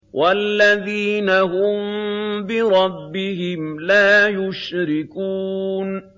وَالَّذِينَ هُم بِرَبِّهِمْ لَا يُشْرِكُونَ